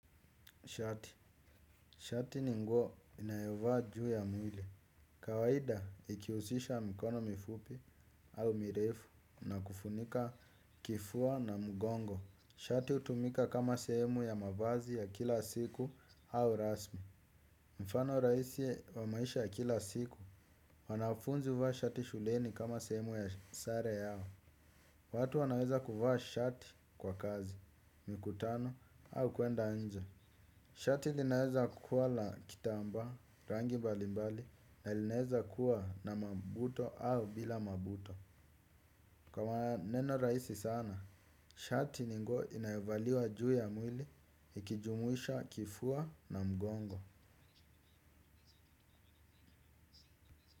Shati. Shati ni nguo inayovaa juu ya mwili. Kawaida ikiusisha mikono mifupi au mirefu na kufunika kifua na mugongo. Shati utumika kama sehemu ya mavazi ya kila siku au rasmi. Mfano rahisi wa maisha ya kila siku wanafunzi uvaa shati shuleni kama sehemu ya sare yao. Watu wanaweza kuvaa shati kwa kazi, mikutano au kuenda nje. Shati linaeza kuwa la kitamba rangi mbali mbali na linaeza kuwa na mabuto au bila mabuto. Kwa maneno raisi sana, shati ni nguo inayovaliwa juu ya mwili ikijumuisha kifua na mgongo.